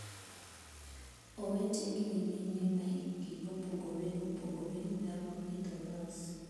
Owete gi nyimine ma hikgi opogore opogore nyalo idho bas.